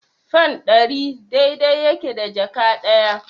Fan ɗari dai-dai yake da jaka ɗaya.